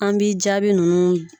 An b'i jaabi nunnu